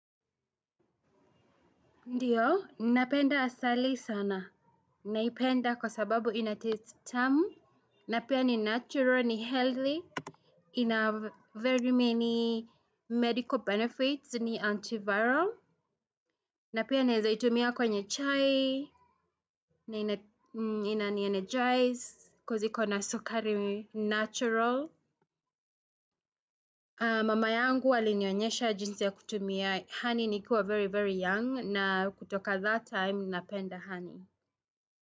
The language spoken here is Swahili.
Ndiyo, ninapenda asali sana. Ninapenda kwa sababu inataste tamu. Napia ni natural, ni healthy. Ina very many medical benefits, ni antiviral. Na pia naeza itumia kwenye chai. Na inani energize cause ikona sukari natural. Mama yangu alinionyesha jinsi ya kutumia honey nikiwa very very young. Na kutoka that time, ninapenda honey.